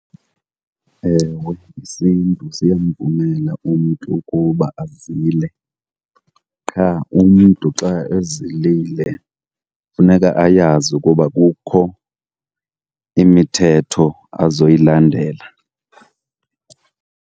Ewe, isiNtu siya siyamvumela umntu ukuba azile. Qha umntu xa ezilile funeka ayazi ukuba kukho imithetho azoyilandela.